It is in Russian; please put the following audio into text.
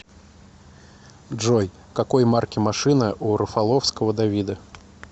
джой какой марки машина у рафаловского давида